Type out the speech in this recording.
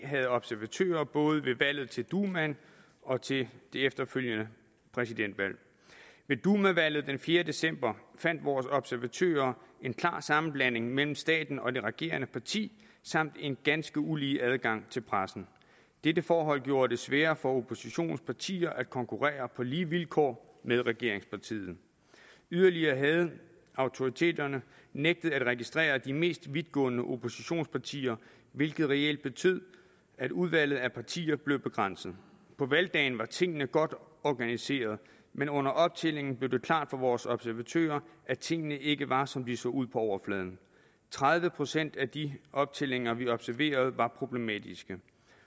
havde observatører både ved valget til dumaen og til det efterfølgende præsidentvalg ved dumavalget den fjerde december fandt vores observatører en klar sammenblanding mellem staten og det regerende parti samt en ganske ulige adgang til pressen dette forhold gjorde det sværere for oppositionens partier at konkurrere på lige vilkår med regeringspartiet yderligere havde autoriteterne nægtet at registrere de mest vidtgående oppositionspartier hvilket reelt betød at udvalget af partier blev begrænset på valgdagen var tingene godt organiseret men under optællingen blev det klart for vores observatører at tingene ikke var som de så ud på overfladen tredive procent af de optællinger vi observerede var problematiske